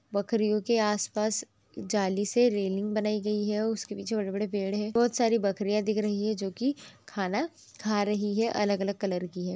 बकरीयो के आसपास जालीसे रेलिंग बनायी गयी है और उसके पीछे बड़े बड़े पेड़ है बहुत सारी बकरीया दिख रही है जो की खाना खा रही है अलग अलग कलर की है।